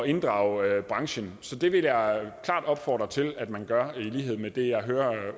inddrage branchen så det vil jeg klart opfordre til at man gør i lighed med det jeg hører